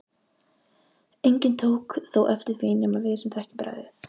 Enginn tók þó eftir því nema við sem þekkjum bragðið.